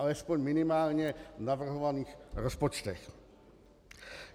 Alespoň v minimálně navrhovaných rozpočtech.